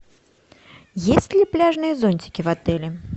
есть ли пляжные зонтики в отеле